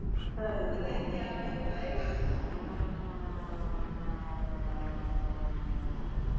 બધા એ કે આ બેન તો આઇવા